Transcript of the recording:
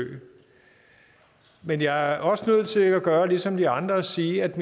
man jeg er også nødt til at gøre ligesom de andre og sige at